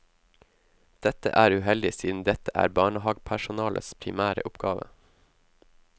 Dette er uheldig siden dette er barnehagepersonalets primære oppgave.